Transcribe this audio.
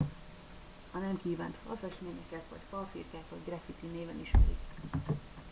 a nem kívánt falfestményeket vagy falfirkákat graffiti néven ismerik